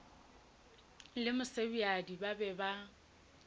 le mosebjadi ba be ba